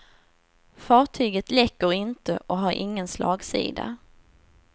Fartyget läcker inte och har ingen slagsida.